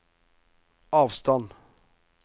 avstand